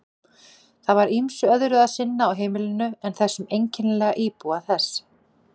Það var ýmsu öðru að sinna á heimilinu en þessum einkennilega íbúa þess.